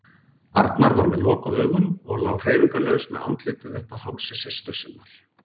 Arnar var með lokuð augun og lá hreyfingarlaus með andlitið upp að hálsi systur sinnar.